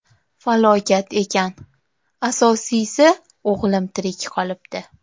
Falokat ekan, asosiysi, o‘g‘lim tirik qolibdi.